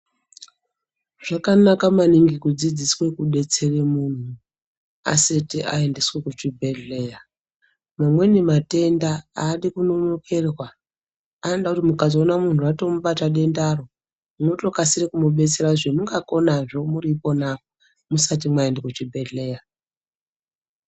Zvakanaka maningi kudzidziswa kudetsera muntu asati aendeswa kuchibhedhleya .Mamweni matenda aadi kunonokerwa ,anoda kuti mukatoona muntu ratomubata dendaro M.munotokasire kumudetsera zvamungakona muri ikona musati maenda kuchibhedhleya.